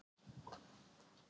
Leikurinn hélt áfram.